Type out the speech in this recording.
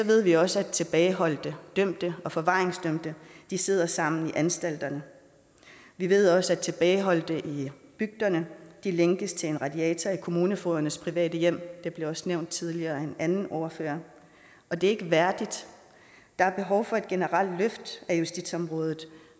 ved vi også at tilbageholdte dømte og forvaringsdømte sidder sammen i anstalterne vi ved også at tilbageholdte i bygderne lænkes til en radiator i kommunefogedernes private hjem det blev også nævnt tidligere af en anden ordfører og det er ikke værdigt der er behov for et generelt løft af justitsområdet